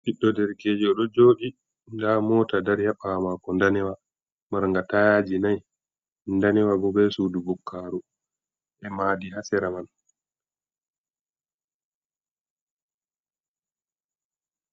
Ɓiɗɗo derkejo ɗo jooɗi nda moota dari ha ɓawo mako danewa manga tayaaji nai, danewa bo be suudu bukkaru e maadi ha sera man.